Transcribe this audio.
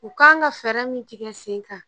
U kan ka fɛɛrɛ min tigɛ sen kan